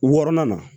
Wɔrɔnan na